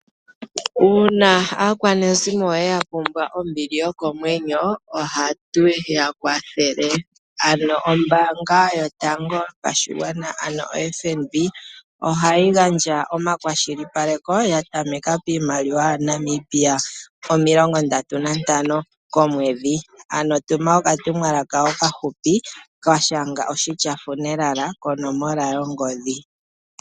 Uuna aakwanezimo yoye ya pumbwa ombili yokomwenyo ohatu ya kwathele ano, ombaanga yotango yopashigwana ano FNB, ohayi gandja omakwashilipaleko ya tameka piimaliwa ya Namibia omilongo ndatu nantano komwedhi ano Tuma oka tumwa lala okahupi noshitya funeral konomola 34778.